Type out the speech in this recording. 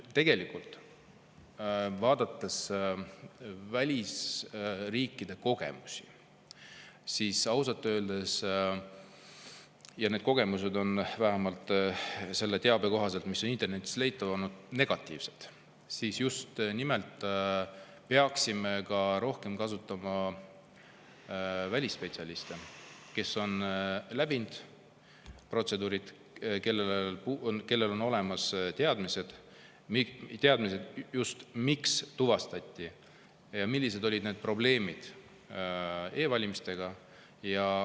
Tegelikult, vaadates välisriikide kogemusi – ja ausalt öeldes need kogemused on vähemalt selle teabe kohaselt, mis on internetis leitav olnud, negatiivsed –, me just nimelt peaksime ka rohkem kasutama välisspetsialiste, kes on protseduure uurinud, kellel on olemas teadmised, mis tuvastati ja millised olid probleemid e-valimistega.